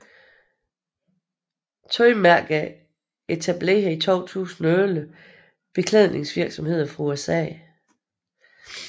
Tøjmærker Etableret i 2011 Beklædningsvirksomheder fra USA